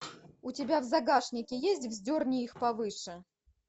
у тебя в загашнике есть вздерни их повыше